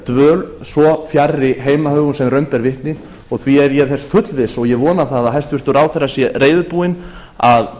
dvöl svo fjarri heimahögum sem raun ber vitni og því er ég þess fullviss og ég vona það að hæstvirtur ráðherra sé reiðubúinn að